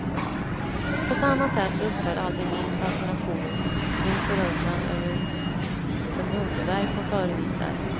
På samma sätt upphör aldrig min fascination, min förundran över de underverk hon förevisar.